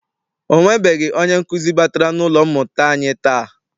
Ọ nwebeghị onye nkụzi batara n'ụlọ mmụta anyi taa.